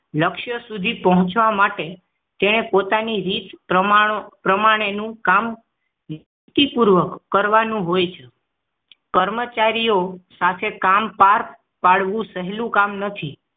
લક્ષ્ય સુધી પહોંચવા માટે તેને પોતાની રીત પ્રમાણે રીત પ્રમાણેનું કામ પૂર્વક કરવાનું હોય છે કર્મચારીઓ સાથે કામ પાર પાડવું સહેલું કામ નથી